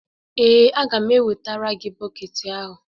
Ee, a ga m ewetara gị bọket ahụ.